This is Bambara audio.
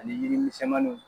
Ani yiri misɛnmanninw.